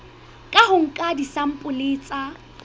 ka ho nka disampole tsa